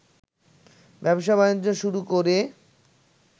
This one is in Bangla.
ব্যবসা-বাণিজ্য শুরু করে